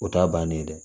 O t'a bannen ye dɛ